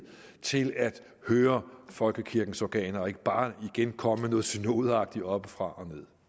til at høre folkekirkens organer og ikke bare igen komme med noget synodeagtigt oppefra